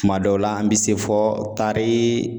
Tuma dɔw la an bi se fɔ tarii